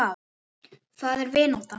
Hvað er vinátta?